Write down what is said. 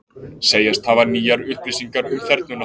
Segjast hafa nýjar upplýsingar um þernuna